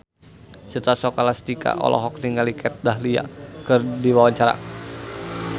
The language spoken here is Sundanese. Citra Scholastika olohok ningali Kat Dahlia keur diwawancara